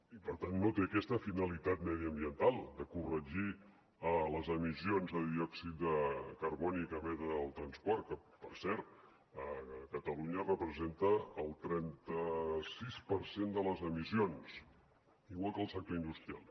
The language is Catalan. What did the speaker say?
i per tant no té aquesta finalitat mediambiental de corregir les emissions de diòxid de carboni que emet el transport que per cert a catalunya representen el trenta sis per cent de les emissions igual que el sector industrial